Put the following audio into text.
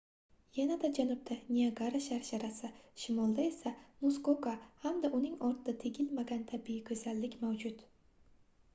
yanada janubda niagara sharsharasi shimolda esa muskoka hamda uning ortida tegilmagan tabiiy goʻzallik mavjud